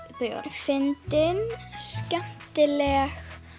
fyndin skemmtileg